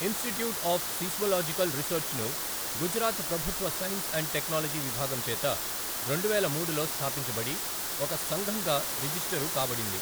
Institute of seismological రీసెర్చ్ను గుజరాత్ ప్రభుత్వ science and technology విభాగం చేత రెండువేల మూడులో స్థాపించబడి ఒక సంఘంగా రిజిష్టరుకాబడింది.